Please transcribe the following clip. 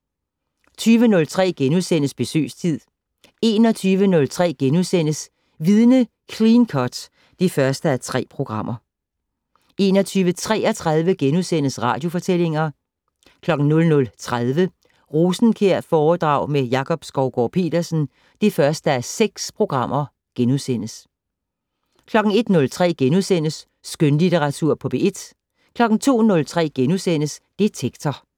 20:03: Besøgstid * 21:03: Vidne - Clean cut (1:3)* 21:33: Radiofortællinger * 00:30: Rosenkjærforedrag med Jakob Skovgaard-Petersen (1:6)* 01:03: Skønlitteratur på P1 * 02:03: Detektor *